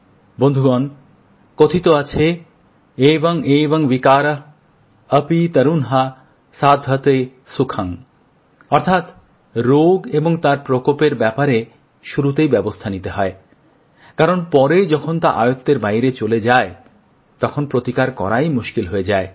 বন্ধুগণ কথায় আছে এবংএবংবিকারঃ অপিতরুনহাসাধ্যতেসুখং অর্থাৎ রোগ এবং তার প্রকোপের ব্যাপারে শুরুতেই ব্যবস্থা নিতে হয় কারণ পরে যখন তা আয়ত্বের বাইরে চলে যায় তখন প্রতিকার করাই মুশকিল হয়ে যায়